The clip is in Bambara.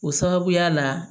O sababuya la